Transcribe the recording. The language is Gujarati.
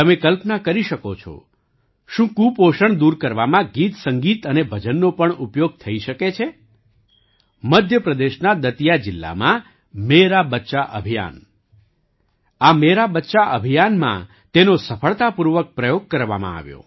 તમે કલ્પના કરીશકો છો શું કુપોષણ દૂર કરવામાં ગીતસંગીત અને ભજનનો પણ ઉપયોગ થઈ શકે છે મધ્ય પ્રદેશના દતિયા જિલ્લામાં મેરા બચ્ચા અભિયાન આ મેરા બચ્ચા અભિયાનમાં તેનો સફળતાપૂર્વક પ્રયોગ કરવામાં આવ્યો